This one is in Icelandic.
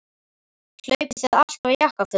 Hlaupið þið alltaf í jakkafötum?